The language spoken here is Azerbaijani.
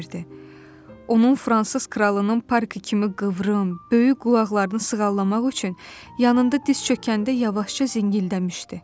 Onun fransız kralının parkı kimi qıvrım, böyük qulaqlarını sığallamaq üçün yanında diz çökəndə yavaşca zingildəmişdi.